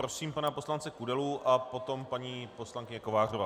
Prosím pana poslance Kudelu a potom paní poslankyně Kovářová.